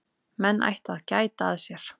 Menn ættu að gæta að sér.